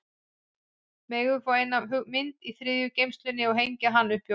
Megum við fá eina af myndunum í þriðju geymslunni og hengja hana upp hjá okkur?